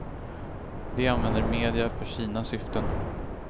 De använder media för sina syften.